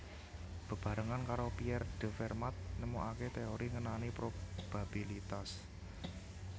Bebarengan karo Pierre de Fermat nemokaké téori ngenani probabilitas